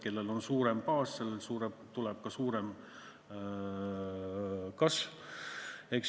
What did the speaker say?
Kellel on suurem baas, sellel tuleb ka suurem kasv.